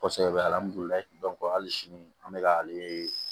Kosɛbɛ alhamdulilayi hali sini an bɛ ka ale